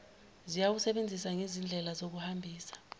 zizawusebenza njengezindlela zokuhambisa